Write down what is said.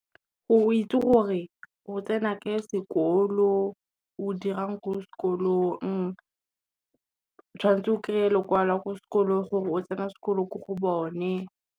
Go itse gore o tsena kae sekolo, o dirang ko sekolong, tshwanetse o kry-e lekwalo la ko sekolong gore o tsena sekolo ko go bone.